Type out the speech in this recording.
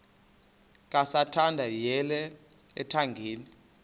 kasathana yeyele ethangeni